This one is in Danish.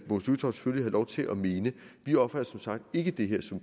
lov til at mene vi opfatter som sagt ikke det her som